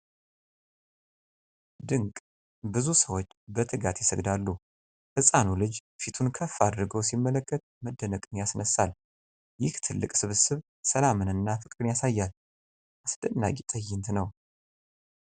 ድንቅ! ብዙ ሰዎች በትጋት ይሰግዳሉ። ህፃኑ ልጅ ፊቱን ከፍ አድርጎ ሲመለከት መደነቅን ያስነሳል። ይህ ትልቅ ስብስብ ሰላምንና ፍቅርን ያሳያል። አስደናቂ ትዕይንት ነው!